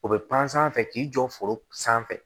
O bɛ pansan k'i jɔ foro sanfɛ